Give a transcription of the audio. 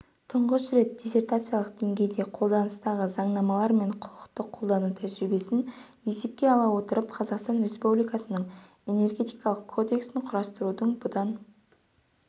тұңғыш рет диссертациялық деңгейде қолданыстағы заңнамалар мен құқықты қолдану тәжірибесін есепке ала отырып қазақстан республикасының энергетикалық кодексін құрастырудың бұдан